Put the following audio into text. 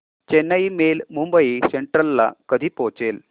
Chennai mail Mumbai central ला कधी पोहचेल